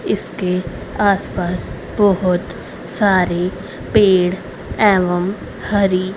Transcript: इसके आस पास बहोत सारे पेड़ एवं हरि--